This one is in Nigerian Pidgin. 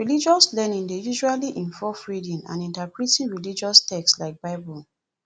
religious learning dey usually involve reading and interpreting religious text like bible